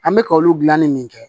An bɛ ka olu dilanni min kɛ